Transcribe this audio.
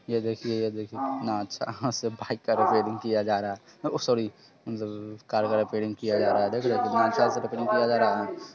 ये देखिये यह देखिये कितना अच्छा बाइक का रिपेरिंग किया जा रहा है ओह सोरी मतलब कार वा रिपेरिंग किया जा रहा है| देख रहे हैं कितना अच्छा से रिपेरिंग किया जा रहा है।